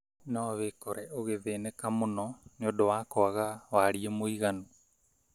no wĩkore ũgĩthĩnĩka mũno nĩũndũ wa kwaga wariĩ mũiganu.